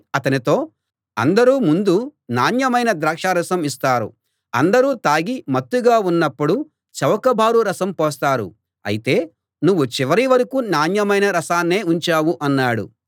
అందరూ ముందు నాణ్యమైన ద్రాక్షరసం ఇస్తారు అందరూ తాగి మత్తుగా ఉన్నప్పుడు చౌకబారు రసం పోస్తారు అయితే నువ్వు చివరి వరకూ నాణ్యమైన రసాన్ని ఉంచావు అన్నాడు